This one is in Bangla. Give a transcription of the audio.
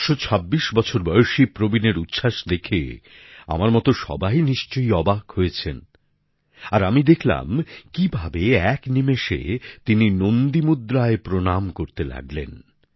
১২৬ বছর বয়সী প্রবীনের উচ্ছ্বাস দেখে আমার মতো সবাই নিশ্চয়ই অবাক হয়েছেন আর আমি দেখলাম কিভাবে এক নিমেষে তিনি নন্দী মুদ্রায় প্রণাম করতে লাগলেন